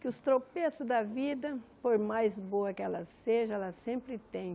Que os tropeços da vida, por mais boa que ela seja, ela sempre tem.